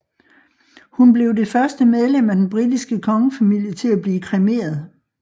Hun blev det første medlem af den britiske kongefamilie til at blive kremeret